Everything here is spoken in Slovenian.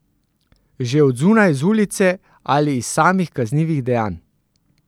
Že od zunaj, z ulice ali iz samih kaznivih dejanj.